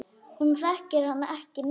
Hún þekkir hann ekki neitt.